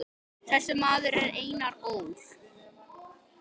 Þessi maður er Einar Ól.